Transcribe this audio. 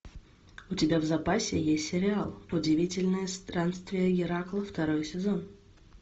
у тебя в запасе есть сериал удивительные странствия геракла второй сезон